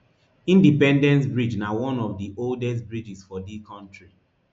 indepence bridge na one of di oldest bidges for di kontri